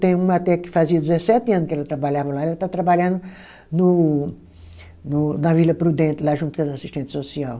Tem uma até que fazia dezessete ano que ela trabalhava lá, ela está trabalhando no no na Vila Prudente, lá junto com as assistente social.